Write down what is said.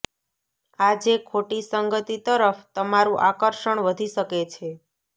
આજે ખોટી સંગતિ તરફ તમારું આકર્ષણ વધી શકે છે